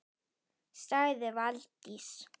sagði Valdís